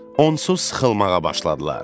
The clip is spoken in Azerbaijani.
Onsuz sıxılmağa başladılar.